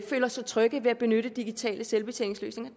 føler sig trygge ved at benytte digitale selvbetjeningsløsninger